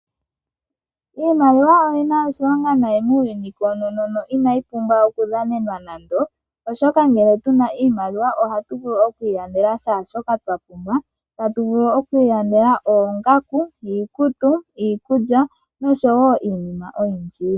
Iimaliwa oyi na oshilonga nayi muuyuni koonono. Inayi pumbwa oku dhanenwa nando, oshoka ngele tu na iimaliwa ohatu vulu oku ilandela shaashoka twa pumbwa. Tatu vulu oku ilandela oongaku, iikutu, iikulya noshowo iinima oyindji.